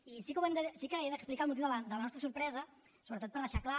i sí que he d’explicar el motiu de la nostra sorpresa sobretot per deixar clar